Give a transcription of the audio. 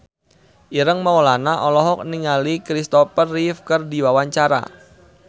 Ireng Maulana olohok ningali Kristopher Reeve keur diwawancara